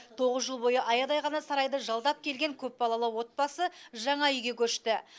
тоғыз жыл бойы аядай ғана сарайды жалдап келген көпбалалы отбасы жаңа үйге көшті